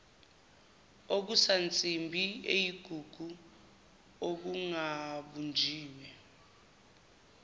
okusansimbi eyigugu okungabunjiwe